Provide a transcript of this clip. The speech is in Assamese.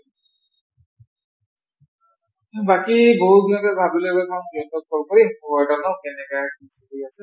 বাকী বহুত দিন ভাবিলো খবৰ এটা লও কেনেকা আছে